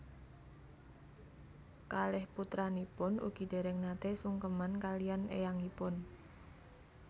Kalih putranipun ugi déréng naté sungkeman kaliyan éyangipun